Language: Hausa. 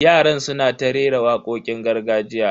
Yaran suna ta rera wakokin gargajiya.